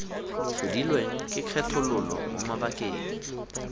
tlhodilweng ke kgethololo mo mabakeng